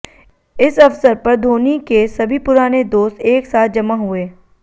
इस अवसर पर धोनी के सभी पुराने दोस्त एक साथ जमा हुए